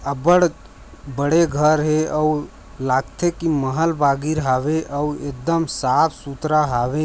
अब्बड़ बड़े घर हे आउ लागथे कि महल बागीर हावे आउ एकदम साफ सुथरा हावे।